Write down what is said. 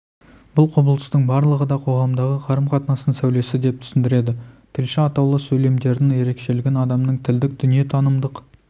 бұл құбылыстың барлығы да қоғамдағы қарым-қатынастың сәулесі деп түсіндіреді тілші атаулы сөйлемдердің ерекшелігін адамның тілдік дүниетанымдық